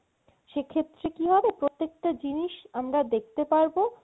সেক্ষেত্রে কি হবে, প্রত্যেকটা জিনিস আমরা দেখতে পারবো